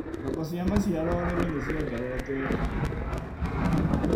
Thoko cia maciaro ũrĩmi nĩciongererekete.